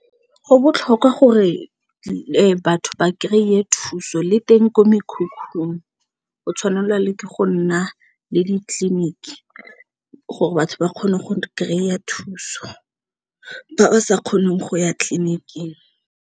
Go botlhokwa gore batho ba kry-e thuso le teng ko mekhukhung o tshwanelwa le ke go nna le ditleliniki gore batho ba kgone go kry-a thuso ba ba sa kgoneng go ya tleliniking.